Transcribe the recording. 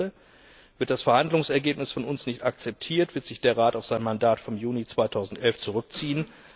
Ich zitiere Wird das Verhandlungsergebnis von uns nicht akzeptiert, wird sich der Rat auf sein Mandat vom Juni 2011 zurückziehen.